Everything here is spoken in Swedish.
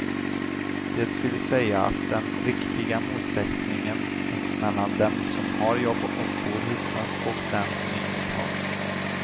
Det vill säga att den riktiga motsättningen finns mellan dem som har jobb och bor hyfsat och dem som inget har.